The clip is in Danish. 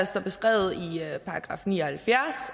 står beskrevet i § ni og halvfjerds